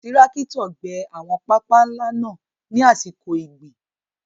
Tirakito gbé àwọn pápá ńlá náà ní àsìkò ìgbìn.